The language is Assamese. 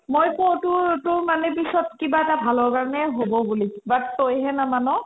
মই কও তোৰ তোৰ money পিছত কিবা এটা ভালৰ কাৰণে হ'ব বুলি but তই হে নামান